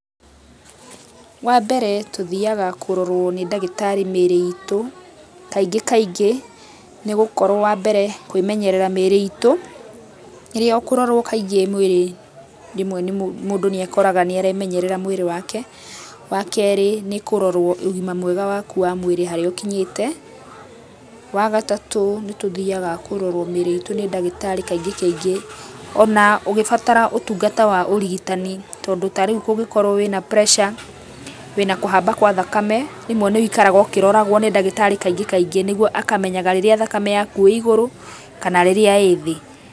Wambere tũthiaga kũrorwa nĩ ndagĩtarĩ mĩrĩ itũ kaingĩ kaingĩ nĩ gũkorwo wambere, kwĩmenyerera mĩrĩ itũ rĩrĩa ũkũrora kaingĩ kaingĩ mwĩrĩ rĩmwe mũndũ nĩekoraga nĩaremenyerera mwĩrĩ wake, wakerĩ nĩ kũrorwa ũgima mwega waku wa mwĩrĩ harĩa ũkinyĩte, wagatatũ tũthiaga kũrorwa mĩrĩ itũ nĩ ndagĩtarĩ kaingĩ kaingĩ ona ũgĩbatara ũtungata wa ũrigitani tondũ tarĩũ angĩkorwa wĩna pressure wĩna kũhamba kwa thakame rĩmwe nĩwĩikaraga ũkĩroragwo nĩ ndagĩtarĩ kaingĩ kaingĩ nĩguo akamenyaga rĩrĩa thakame ĩigũrũ kana rĩrĩa ĩthĩ.